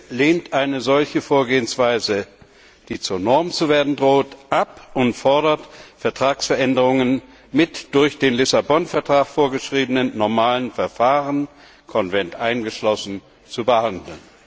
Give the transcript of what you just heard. GUE NGL lehnt eine solche Vorgehensweise, die zur Norm zu werden droht, ab und fordert, Vertragsveränderungen mit durch den Lissabon Vertrag vorgeschriebenen normalen Verfahren Konvent eingeschlossen zu behandeln.